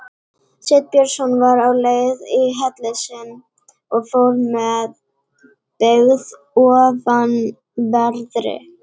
Sveinn Björnsson var á leið í helli sinn og fór með byggð ofanverðri.